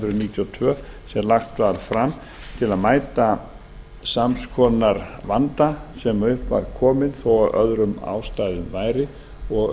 og tvö sem lagt var fram til að mæta sams konar vanda sem upp var kominn þó af öðrum ástæðum væri og